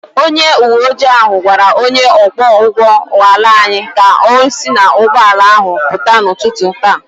Onye uwe ojii ahụ gwara onye ọkwọ ụgbọ ala anyị ka o si n’ụgbọala ahụ pụta n’ụtụtụ taa